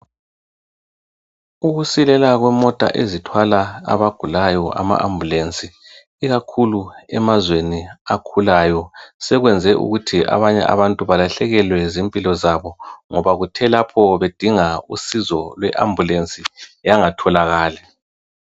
Ukusilela kwezimota ezithwala abagulayo ama Ambulensi, ikakhulu emazweni akhulayo sekwenze ukuthi abanye abantu balahlekelwe zimpilo zabo ngoba kuthe lapho bedinga usizo lwe Ambulensi yangatholakali.